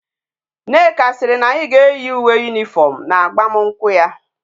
Nneka siri na anyi ga eyi uwe uniform na agbam nkwu ya